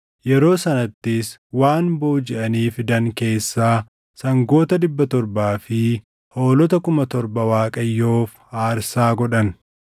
Yeroo sanattis waan boojiʼanii fidan keessaa sangoota dhibba torbaa fi hoolota kuma torba Waaqayyoof aarsaa godhan.